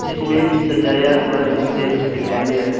इसमें सजाया हुआ स्टेज दिखाई दे रहा